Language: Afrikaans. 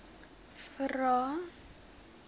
vvvvrae